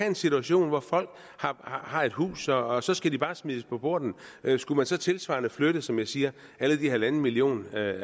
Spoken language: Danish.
en situation hvor folk har et hus og og så skal de bare smides på porten skulle man så tilsvarende flytte som jeg siger alle de halvanden million